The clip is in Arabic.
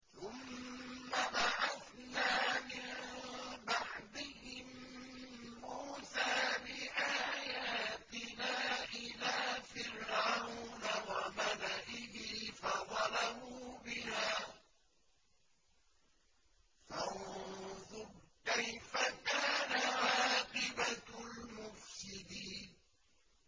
ثُمَّ بَعَثْنَا مِن بَعْدِهِم مُّوسَىٰ بِآيَاتِنَا إِلَىٰ فِرْعَوْنَ وَمَلَئِهِ فَظَلَمُوا بِهَا ۖ فَانظُرْ كَيْفَ كَانَ عَاقِبَةُ الْمُفْسِدِينَ